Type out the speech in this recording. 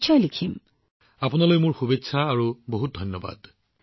প্ৰধানমন্ত্ৰীঃ গতিকে মই আপোনালোকক শুভকামনা জনাইছো আৰু আপোনাক বহুত ধন্যবাদ জনাইছো